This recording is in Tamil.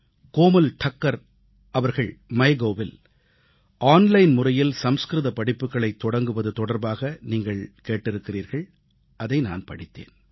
கோமல் டக்கர் அவர்கள் MyGovஇல் ஆன்லைன் முறையில் சமஸ்கிருத படிப்புக்களைத் தொடங்குவது தொடர்பாக நீங்கள் கேட்டிருக்கிறீர்கள் அதை நான் படித்தேன்